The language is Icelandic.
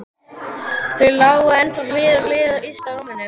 Þau lágu ennþá hlið við hlið yst á rúminu.